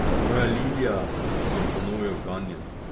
Moja Ljilja, sem ponovil ganjen.